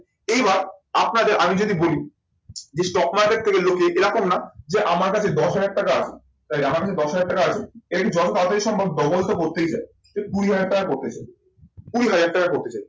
এইবার আপনাদের আমি যদি বলি যে, stock market থেকে লোকে এরকম না যে, আমার কাছ থেকে দশ হাজার টাকা আছে, তাই আমার কাছে দশ হাজার টাকা আছে এটা যত তাড়াতাড়ি সম্ভব double তো করতেই চাই। কুড়ি হাজার টাকা করতে চাই, কুড়ি হাজার টাকা করতে চাই।